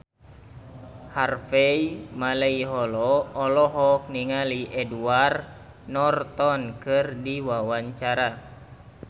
Harvey Malaiholo olohok ningali Edward Norton keur diwawancara